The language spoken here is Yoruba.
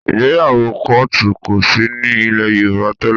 Ìgbéyàwó kọ́òtù kò sí ní ilẹ̀ Yorùbá tẹ́lẹ̀